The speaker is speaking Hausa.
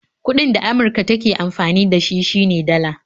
Kuɗin da Amurka take amfani da shi ,shi ne Dala